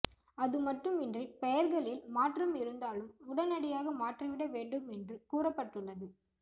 அதுமட்டுமின்றி பெயர்களில் மாற்றம் இருந்தாலும் உடனடியாக மாற்றிவிட வேண்டும் என்று கூறப்பட்டுள்ளது